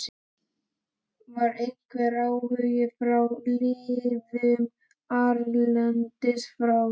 Var einhver áhugi frá liðum erlendis frá?